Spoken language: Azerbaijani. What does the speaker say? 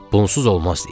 Bununsuz olmaz deyir.